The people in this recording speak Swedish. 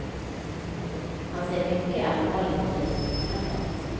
Han ser mycket allvarligt på det som inträffat.